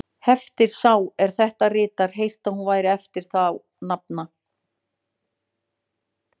Hefir sá, er þetta ritar, heyrt, að hún væri eftir þá nafna